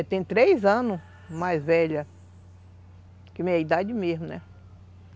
É, tem três anos mais velha que minha idade mesmo, né?